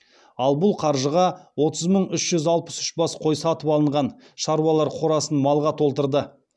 ал бұл қаржыға отыз мың үш жүз алпыс үш бас қой сатып алған шаруалар қорасын малға толтырды